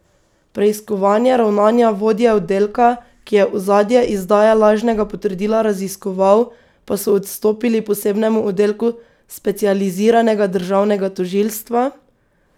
Preiskovanje ravnanja vodje oddelka, ki je ozadje izdaje lažnega potrdila raziskoval, pa so odstopili posebnemu oddelku specializiranega državnega tožilstva.